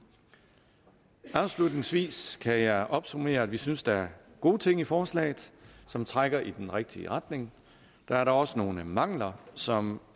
afslutningsvis kan jeg opsummere at vi synes der er gode ting i forslaget som trækker i den rigtige retning der er dog også nogle mangler som